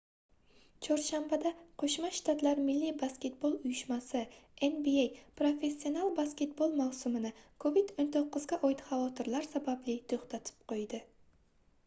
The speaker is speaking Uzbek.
chorshanbada qo'shma shtatlar milliy basketbol uyushmasi nba professional basketbol mavsumini covid-19 ga oid xavotirlar sababli to'xtatib qo'ydi